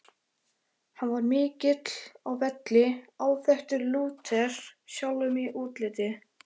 Hann var mikill á velli, áþekkur Lúter sjálfum í útliti.